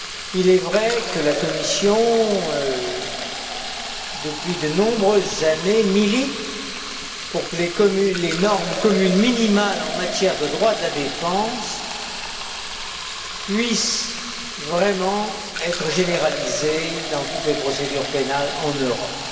Il est vrai que la Commission, depuis de nombreuses années, milite pour que les normes communes minimales en matière de droit de la défense puissent vraiment être généralisées dans toutes les procédures pénales en Europe.